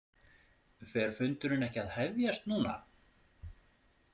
Fer fundurinn ekki að hefjast núna?